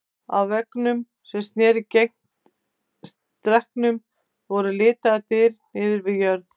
Á veggnum sem sneri gegnt stekknum voru litlar dyr niðri við jörð.